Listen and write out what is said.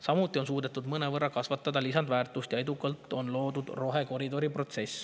Samuti on suudetud mõnevõrra kasvatada lisandväärtust ja edukalt on loodud rohekoridor.